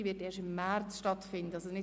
diese wird erst im März stattfinden.